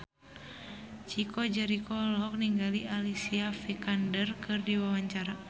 Chico Jericho olohok ningali Alicia Vikander keur diwawancara